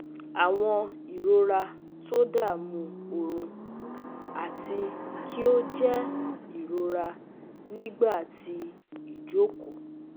Awọn irora todamu orun ati ki o jẹ irora nigba ti ijoko